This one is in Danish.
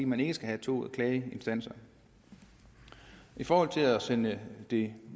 man ikke skal have to klageinstanser i forhold til at sende det